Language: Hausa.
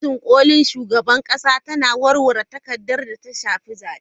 Kotun kolin shugaban kasa na warware takaddamar da ta shafi zabe.